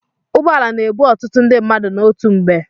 Ụgbọala na-ebu ọtụtụ ndị mmadụ n'otu mgbe.